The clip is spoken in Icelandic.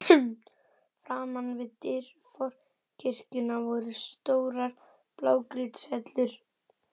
Framan við dyr forkirkjunnar voru stórar blágrýtishellur.